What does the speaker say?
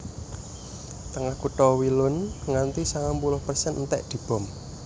Tengah kutha Wielun nganti sangang puluh persen entèk dibom